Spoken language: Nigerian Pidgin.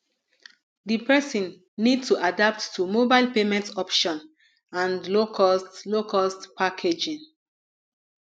di person need to adapt to mobile payment option and low cost low cost packaging